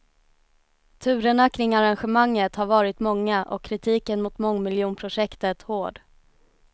Turerna kring arrangemanget har varit många och kritiken mot mångmiljonprojektet hård.